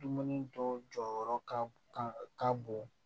Dumuni dɔw jɔyɔrɔ ka bon